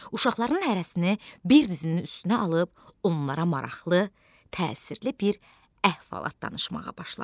Uşaqların hərəsini bir dizinin üstünə alıb onlara maraqlı, təsirli bir əhvalat danışmağa başladı.